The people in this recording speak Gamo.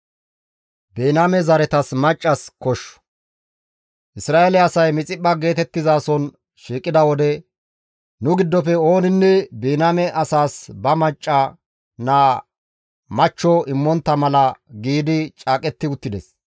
Isra7eele asay Mixiphpha geetettizason shiiqida wode, «Nu giddofe ooninne Biniyaame asaas ba macca naa machcho immontta mala» giidi caaqetti uttides.